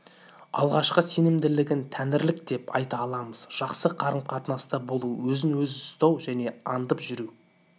алғашқы сенімділігін тәңірлік деп айта аламыз жақсы қарым-катынаста болу өзін-өзі үстау және аңдып жүру